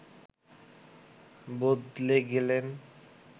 বদলে গেলেন